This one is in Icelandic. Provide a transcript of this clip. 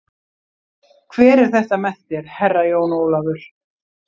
Hver er þetta með þér, Herra Jón Ólafur?